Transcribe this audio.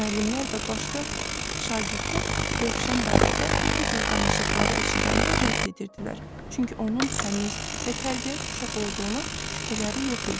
Müəllimlər və başqa şagirdlər Rövşən barədə bu cür danışıqları eşidəndə rədd edirdilər, çünki onun təmiz və tərbiyəli uşaq olduğuna şübhələri yox idi.